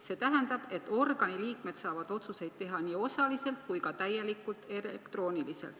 See tähendab, et organi liikmed saavad otsuseid teha nii osaliselt kui ka täielikult elektrooniliselt.